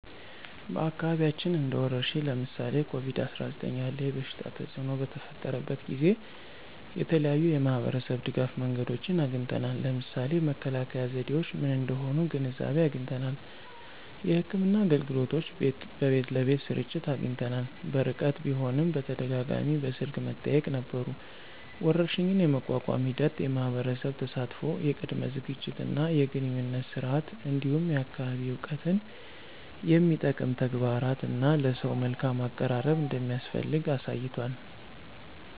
በአካባቢያችን እንደ ወረርሽኝ (ለምሳሌ ኮቪድ-19) ያለ የበሽታ ተፅእኖ በተፈጠረበት ጊዜ የተለያዩ የማህበረሰብ ድጋፍ መንገዶችን አግኝተናል። ለምሳሌ መከላከያ ዘዴዎች ምን እንደሆኑ ግንዛቤ አግኝተናል። የሕክምና አገልግሎቶች በቤት ለቤት ስርጭት አግኝተናል። በርቀት ቢሆንም በተደጋጋሚ በስልክ መጠያየቅ ነበሩ። ወረርሽኝን የመቋቋም ሂደት የማህበረሰብ ተሳትፎ፣ የቅድመ ዝግጅት እና የግንኙነት ስርዓት፣ እንዲሁም የአካባቢ እውቀትን የሚጠቅም ተግባራት እና ለሰው መልካም አቀራረብ እንደሚያስፈልግ አሳይቷል።